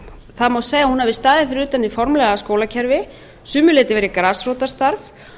það má segja að hún hafi staðið fyrir utan hið formlega skólakerfi að sumu leyti verið grasrótarstarf